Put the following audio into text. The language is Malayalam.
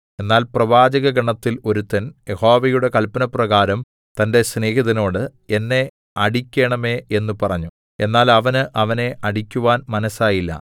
എന്നാൽ പ്രവാചകഗണത്തിൽ ഒരുത്തൻ യഹോവയുടെ കല്പനപ്രകാരം തന്റെ സ്നേഹിതനോട് എന്നെ അടിക്കേണമേ എന്ന് പറഞ്ഞു എന്നാൽ അവന് അവനെ അടിക്കുവാൻ മനസ്സായില്ല